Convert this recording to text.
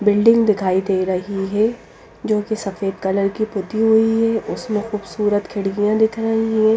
Building दिखाई दे रही है जो कि सफेद कलर की पुती हुई है उसमें खूबसूरत खिड़वियां दिख रही है।